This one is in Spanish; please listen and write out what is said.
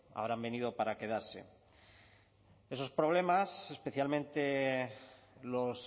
habrán venido para quedarse esos problemas especialmente los